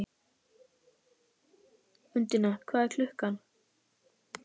Undína, hvað er klukkan?